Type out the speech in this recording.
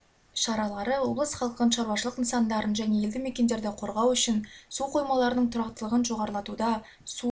шаралары облыс халқын шаруашылық нысандарын және елді мекендерді қорғау үшін су қоймаларының тұрақтылығын жоғарлатуда су